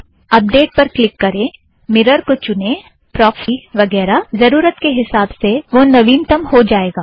update पर click करें mirror को चुनें प्रोक्स टी वगैरा - ज़रुरत के हीसाब से वह नवीनतम हो जाएगा